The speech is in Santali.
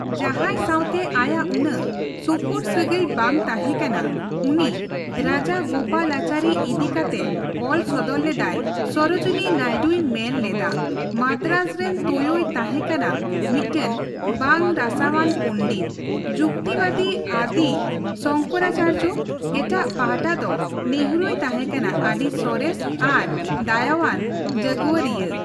ᱡᱟᱸᱦᱟᱭ ᱥᱟᱶᱛᱮ ᱟᱭᱟᱜ ᱩᱱᱟᱹᱜ ᱥᱩᱯᱩᱨ ᱥᱟᱹᱜᱟᱹᱭ ᱵᱟᱝ ᱛᱟᱸᱦᱮ ᱠᱟᱱᱟ, ᱩᱱᱤ ᱨᱟᱡᱟᱜᱳᱯᱟᱞᱟᱪᱟᱹᱨᱤ ᱤᱫᱤ ᱠᱟᱛᱮ ᱚᱞ ᱥᱚᱫᱚᱨ ᱞᱮᱫᱟᱭ ᱥᱚᱨᱳᱡᱤᱱᱤ ᱱᱟᱭᱰᱩᱭ ᱢᱮᱱ ᱞᱮᱫᱟ, 'ᱢᱟᱫᱟᱨᱟᱡᱽ ᱨᱮᱱ ᱛᱳᱭᱳᱭ ᱛᱟᱸᱦᱮ ᱠᱟᱱᱟ ᱢᱤᱫᱴᱟᱝ ᱵᱟᱝ ᱨᱟᱥᱟ ᱟᱱ ᱯᱚᱱᱰᱤᱛ, ᱡᱩᱠᱛᱤᱵᱟᱫᱤ ᱟᱫᱤ ᱥᱚᱝᱠᱚᱨᱟᱪᱟᱨᱡᱚ, ᱮᱴᱟᱜ ᱯᱟᱦᱚᱴᱟ ᱫᱚ ᱱᱮᱦᱨᱩᱭ ᱛᱟᱸᱦᱮᱠᱟᱱᱟ ᱟᱹᱰᱤ ᱥᱚᱨᱮᱥ ᱟᱨ ᱫᱟᱭᱟᱣᱟᱱ ᱡᱟᱜᱽᱣᱟᱨᱤᱭᱟᱹ' ᱾